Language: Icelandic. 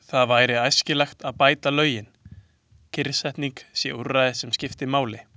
Því væri æskilegt að bæta lögin, kyrrsetning sé úrræði sem skipti máli.